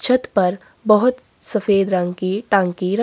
छत पर बहोत सफेद रंग की टंकी रखी--